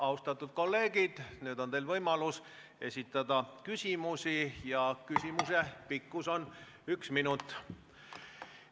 Austatud kolleegid, nüüd on teil võimalus esitada küsimusi ja ühe küsimuse pikkus on üks minut.